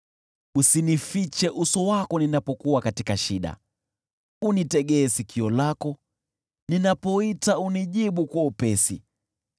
Usinifiche uso wako ninapokuwa katika shida. Unitegee sikio lako, ninapoita, unijibu kwa upesi.